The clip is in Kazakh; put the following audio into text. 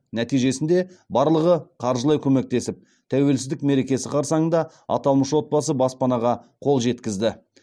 нәтижесінде барлығы қаржылай көмектесіп тәуелсіздік мерекесі қарсаңында аталмыш отбасы баспанаға қол жеткізді